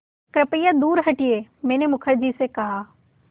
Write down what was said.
कृपया दूर हटिये मैंने मुखर्जी से कहा